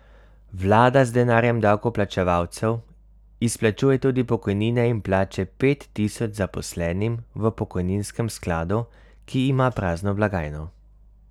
Vlada z denarjem davkoplačevalcev izplačuje tudi pokojnine in plače pet tisoč zaposlenim v pokojninskem skladu, ki ima prazno blagajno.